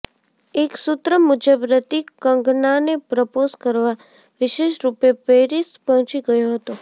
એક સૂત્ર મુજબ હૃતિક કંગનાને પ્રપોઝ કરવા વિશેષરૂપે પેરિસ પહોંચી ગયો હતો